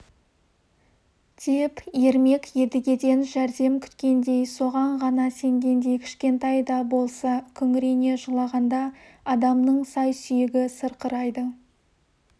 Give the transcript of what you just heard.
деп ермек едігеден жәрдем күткендей соған ғана сенгендей кішкентай да болса күңірене жылағанда адамның сай-сүйегі сырқырайды